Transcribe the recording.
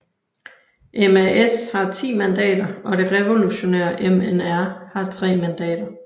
MAS har 10 mandater og det revolutionære MNR har tre mandater